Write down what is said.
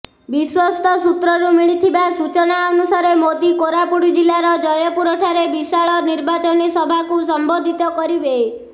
ବିଶ୍ୱସ୍ତ ସୂତ୍ରରୁ ମିଳିଥିବା ସୂଚନା ଅନୁସାରେ ମୋଦି କୋରାପୁଟ ଜିଲ୍ଲାର ଜୟପୁରଠାରେ ବିଶାଳ ନିର୍ବାଚନୀ ସଭାକୁ ସମ୍ବୋଧିତ କରିବେ